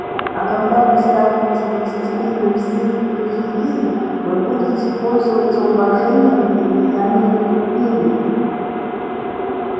а когда вы станете властелином всей периферии вы будете пользоваться уважением и влиянием в империи